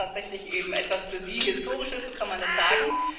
Das ist tatsächlich etwas für Sie Historisches, so kann man das sagen.